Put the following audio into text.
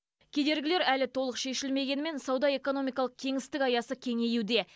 кедергілер әлі толық шешілмегенімен сауда экономикалық кеңістік аясы кеңеюде